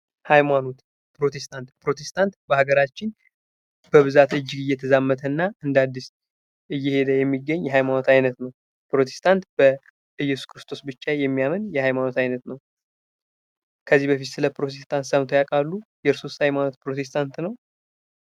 ህይማኖት፦ ፦ፕሮቴስታንት፦ ፕሮተስታንት በሃገራችን እጅግ እየተዛመተ እና እንደ አዲስ እጂግ እየሄድ የሚገኝ የሃይማኖት አይነት ነው። ፕሮቴስታንት በኢየሱስ ክርስቶስ ብቻ የሚያምን ሀይማኖት ነው። ከዚህ ከደም ስለ ፕሮቴስታንት ሰምተው ያቃሉ? የርስዎስ ሀይማኖት ፕሮቴስታንት ነው?